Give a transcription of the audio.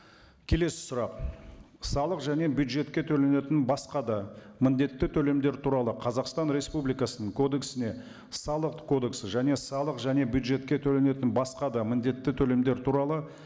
келесі сұрақ салық және бюджетке төленетін басқа да міндетті төлемдер туралы қазақстан республикасының кодексіне салық кодексі және салық және бюджетке төленетін басқа да міндетті төлемдер туралы